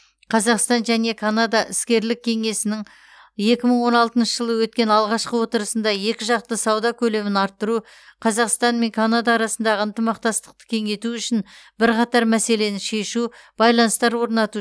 қазақстан және канада іскерлік кеңесінің екі мың он алтыншы жылы өткен алғашқы отырысында екіжақты сауда көлемін арттыру қазақстан мен канада арасындағы ынтымақтастықты кеңейту үшін бірқатар мәселені шешу байланыстар орнату